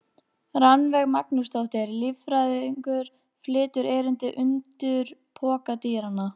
Rannveig Magnúsdóttir, líffræðingur, flytur erindið: Undur pokadýranna.